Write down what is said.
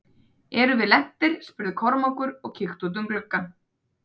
Erum við lentir spurði Kormákur og kíkti út um gluggann.